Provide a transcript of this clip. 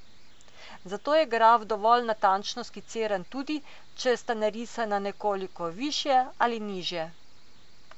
Zato je graf dovolj natančno skiciran tudi, če sta narisana nekoliko višje ali nižje.